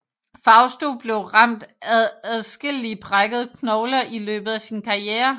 Fausto blev ramt af adskillige brækkede knogler i løbet af sin karriere